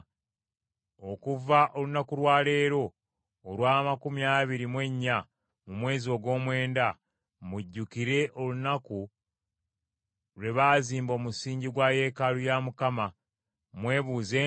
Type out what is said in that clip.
Okuva olunaku lwa leero, olw’amakumi abiri mu ennya mu mwezi ogw’omwenda, mujjukire olunaku lwe baazimba omusingi gwa yeekaalu ya Mukama . Mwebuuze nti,